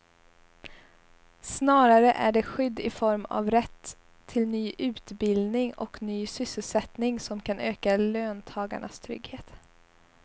Snarare är det skydd i form av rätt till ny utbildning och ny sysselsättning som kan öka löntagarnas trygghet.